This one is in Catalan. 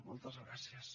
moltes gràcies